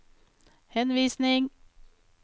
henvisning